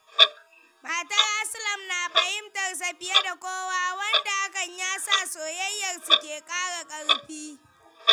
Matar Aslam na fahimtar sa fiye da kowa, wanda hakan ya sa soyayyarsu ke ƙara ƙarfi.